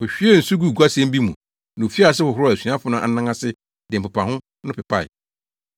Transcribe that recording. Ohwiee nsu guu guasɛn bi mu na ofii ase hohoroo asuafo no anan ase de mpepaho no pepae.